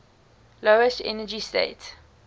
lowest energy state